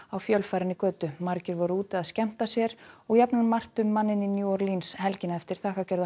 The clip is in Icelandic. á fjölfarinni götu margir voru úti að skemmta sér og jafnan margt um manninn í New helgina eftir